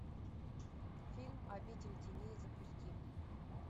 фильм обитель теней запусти